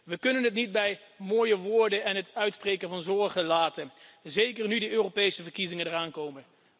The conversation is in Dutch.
We kunnen het niet bij mooie woorden en het uitspreken van zorgen laten, zeker nu de Europese verkiezingen eraan komen.